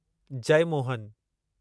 Jeyamohan